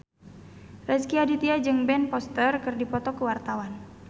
Rezky Aditya jeung Ben Foster keur dipoto ku wartawan